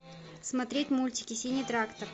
смотреть мультики синий трактор